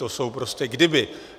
To jsou prostě kdyby.